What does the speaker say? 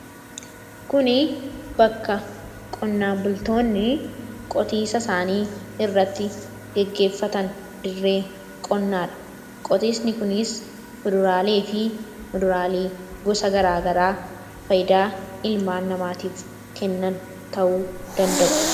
Kuni bakka qonnaan bultoonni qotiisa isaanii irratti geggeeffatan dirree qonnaa dha. Qotiisni kunis fuduraalee fi muduraalee gosa gara garaa fayyidaa ilmaan namaatiif kennan ta'uu danda'u.